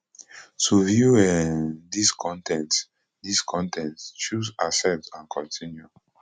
to view um dis con ten t dis con ten t choose accept and continue